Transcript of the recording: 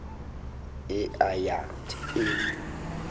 e a ya th e